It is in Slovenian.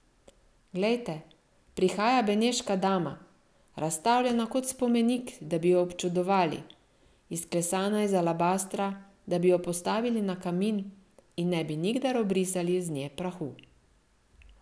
Glejte, prihaja beneška dama, razstavljena kot spomenik, da bi jo občudovali, izklesana iz alabastra, da bi jo postavili na kamin in ne bi nikdar obrisali z nje prahu.